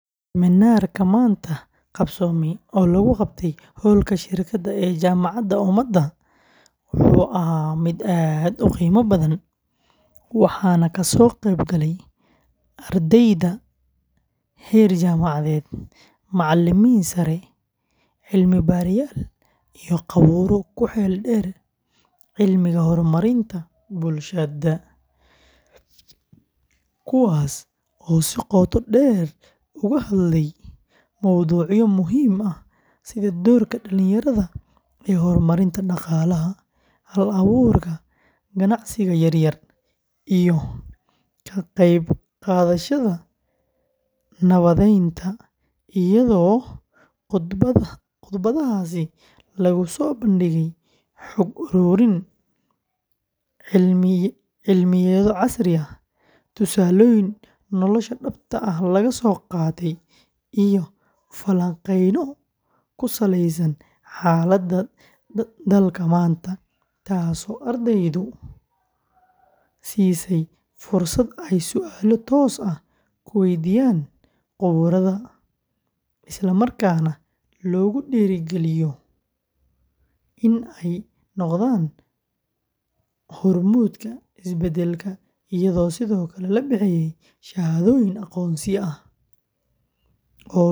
Minaarka maanta qabsoome oo lagu qabte hoolka shirkada ee jamada umada, wuxuu ahaa mid aad uqiimo badan, waxaana kasoo qeyb gale ardeyda heer jamacadeed, macalimiin sare, cilmi baarayaal iyo qabuuro ku xil deer cilmiga hor marinta bulshada, kuwaas oo si qooto deer u hadlay mowducyo muhiim ah, sida doorka dalinyarada ee hor marinta daqaalaha, hal abuurka ganacsiga yaryar iyo ka qeyb qadashada nabadeenta iyado qudbadaha lagu soo bandige xog aruurin, cilmiya casri ah, tusaloyin nolosha dabta ah laga soo qaate iyo falanqeeno ku saleeysan xalada dalka maanta, taas oo ardeydu siisey fursad aay sualo toos ah kuweydiyaan qabuurada, isla markaana loogu diiri galiyo in aay noqdaan hor muudka is badalka ayado sido kale labixiye shahadoyin aqoonsi ah.